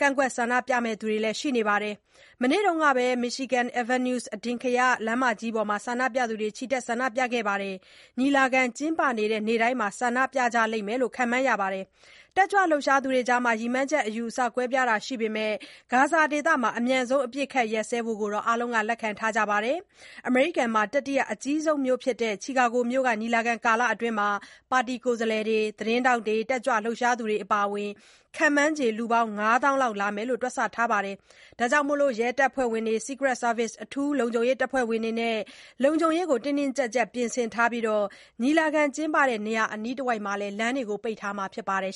ကန့်ကွက် ဆန္ဒပြမယ့်သူတွေလည်း ရှိနေပါတယ်။ မနေ့ကပဲ Michigan Avenue အထင်ကရ လမ်းမကြီးပေါ်မှာ ဆန္ဒပြသူတွေ ချီတက်ခဲ့ကြတာပါ။ ညီလာခံ ကျင်းပနေတဲ့ နေ့တိုင်းမှာ ဆန္ဒပြကြလိမ့်မယ်လို့လည်း ခန့်မှန်းရပြီး၊ တက်ကြွလှုပ်ရှားသူတွေကြား ရည်မှန်းချက်အယူအဆ ကွဲပြားတာတွေ ရှိပေမဲ့ ဂါဇာဒေသမှာ အမြန်ဆုံး အပစ်အခတ် ရပ်စဲဖို့ကိုတော့ အားလုံးက လက်ခံထားကြပါတယ်။ အမေရိကန်မှာ တတိယအကြီးဆုံးဖြစ်တဲ့ Chicago မြို့က ညီလာခံကာလအတွင်း ပါတီကိုယ်စားလှယ်တွေ၊ သတင်းထောက်တွေ၊ တက်ကြွလှုပ်ရှားသူတွေ အပါအဝင် ခန့်မှန်းခြေ လူ ၅ သောင်းလောက် လာကြလိမ့်မယ်လို့လည်း တွက်ဆထားကြတာပါ။ ရဲတပ်ဖွဲ့ဝင်တွေ Secret Service အထူးလုံခြုံရေးတပ်ဖွဲ့ဝင်တွေနဲ့ လုံခြုံရေးအတွက် တင်းတင်းကြပ်ကြပ် ပြင်ဆင်ထားပြီး၊ ညီလာခံကျင်းပရာ နေရာအနီးတဝိုက် လမ်းတွေကိုလည်း ပိတ်ထားမှာ ဖြစ်ပါတယ်